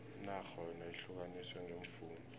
inarha yona ihlukaniswe ngeemfunda